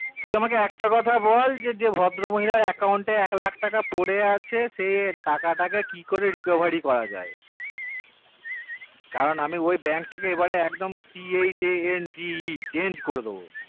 তুই আমাকে একটা কথা বল যে ভদ্র মহিলার account তে এক লক্ষ টাকা পরে আসে সে টাকাকে কি করে recovery করা যাই কারণ আমি ওই bank টাকে এই বার change করে দেব